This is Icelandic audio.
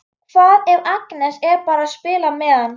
Hvað ef Agnes er bara að spila með hann?